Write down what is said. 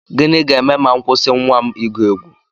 Gịnị ga-eme ma m kwụsị nnwa m igwu egwu?